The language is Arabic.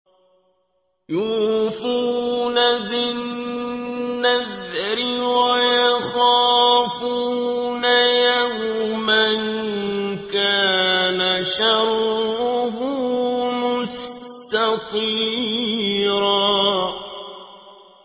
يُوفُونَ بِالنَّذْرِ وَيَخَافُونَ يَوْمًا كَانَ شَرُّهُ مُسْتَطِيرًا